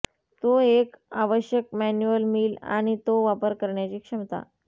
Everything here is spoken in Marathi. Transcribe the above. तो एक आवश्यक मॅन्युअल मिल आणि तो वापर करण्याची क्षमता